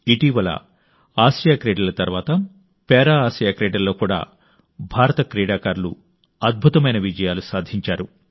ఇటీవల ఆసియా క్రీడల తర్వాత పారా ఆసియా క్రీడల్లో కూడా భారత క్రీడాకారులు అద్భుతమైన విజయాలు సాధించారు